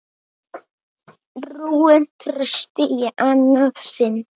Rúin trausti í annað sinn.